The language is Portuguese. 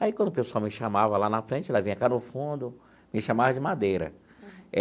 Aí, quando o pessoal me chamava lá na frente, ela vinha cá no fundo, me chamava de Madeira.